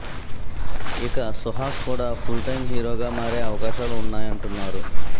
ఇక సుహాస్ కూడా full time hero గా మారే అవకాశాలు ఉన్నాయంటున్నారు